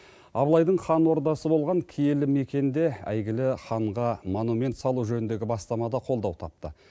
абылайдың хан ордасы болған киелі мекенде әйгілі ханға монумент салу жөніндегі бастама да қолдау тапты